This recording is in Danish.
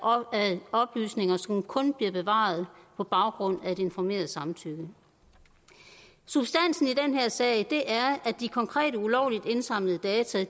oplysninger som kun bliver bevaret på baggrund af et informeret samtykke substansen i den her sag er at de konkrete ulovligt indsamlede data